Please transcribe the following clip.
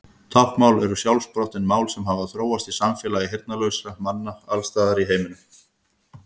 Táknmál eru sjálfsprottin mál sem hafa þróast í samfélagi heyrnarlausra manna alls staðar í heiminum.